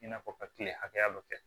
I n'a fɔ ka kile hakɛya dɔ kɛ